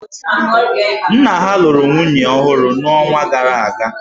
Nna ha lụrụ nwunye ọhụrụ n'ọnwa gara aga.